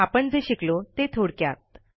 आपण जे शिकलो ते थोडक्यात